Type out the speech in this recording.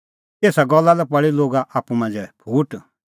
एसा गल्ला लै पल़ी लोगा आप्पू मांझ़ै फूट